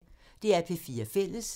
DR P4 Fælles